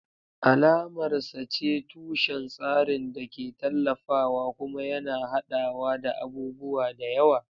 Alamar sa ce tushen tsarin da ke tallafawa kuma yana haɗawa da abubuwa da yawa.